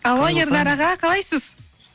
алло ернар аға қалайсыз